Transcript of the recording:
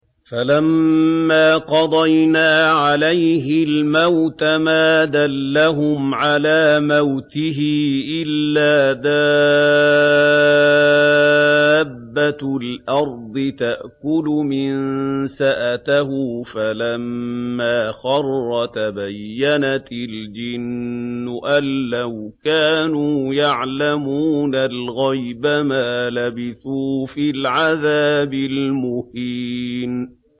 فَلَمَّا قَضَيْنَا عَلَيْهِ الْمَوْتَ مَا دَلَّهُمْ عَلَىٰ مَوْتِهِ إِلَّا دَابَّةُ الْأَرْضِ تَأْكُلُ مِنسَأَتَهُ ۖ فَلَمَّا خَرَّ تَبَيَّنَتِ الْجِنُّ أَن لَّوْ كَانُوا يَعْلَمُونَ الْغَيْبَ مَا لَبِثُوا فِي الْعَذَابِ الْمُهِينِ